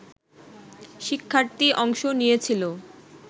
শিক্ষার্থী অংশ নিয়েছিল